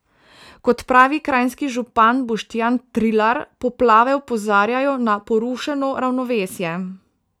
Kot pravi kranjski župan Boštjan Trilar, poplave opozarjajo na porušeno ravnovesje.